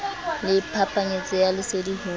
le phapanyetsano ya lesedi ho